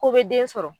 Ko be den sɔrɔ